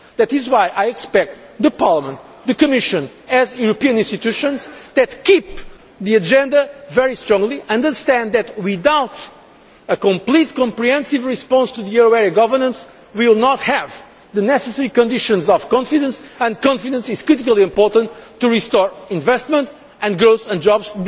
same. That is why I expect Parliament and the Commission, as European institutions that keep firmly to the agenda, to understand that, without a complete comprehensive response to the euro area governance, we will not have the necessary conditions of confidence and confidence is critically important to restore investment and growth and